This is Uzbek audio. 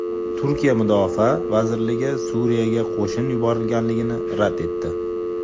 Turkiya Mudofaa vazirligi Suriyaga qo‘shin yuborganligini rad etdi.